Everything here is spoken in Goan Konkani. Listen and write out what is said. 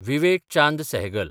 विवेक चांद सेहगल